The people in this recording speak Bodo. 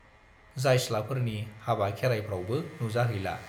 जायस्लाफोरनि हाबा खेरायफ्रावबो नुजाहैला।